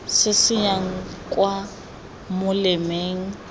se se yang kwa molemeng